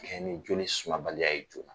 Kɛɲɛ ni joli sumabaliya ye